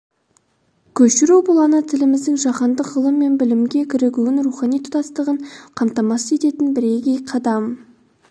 көшіру бұл ана тіліміздің жаһандық ғылым мен білімге кірігуін рухани тұтастығын қамтамасыз ететін бірегей қадам